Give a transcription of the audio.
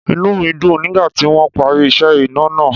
Inú mi dùn nígbà tí wọ́n parí iṣẹ́ iná náà.